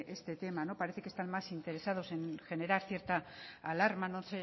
este tema parece que están más interesados en generar cierta alarma no